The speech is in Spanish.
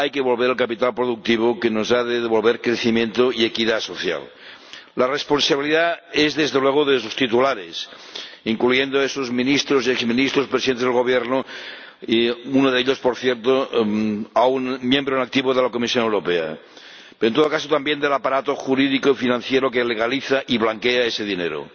Hay que volver el capital productivo que nos ha de devolver, crecimiento y equidad social. La responsabilidad es, desde luego, de sus titulares, incluyendo esos ministros y exministros, presidentes de Gobierno, uno de ellos —por cierto— aún miembro en activo de la Comisión Europea en todo caso, también del aparato jurídico y financiero que legaliza y blanquea ese dinero.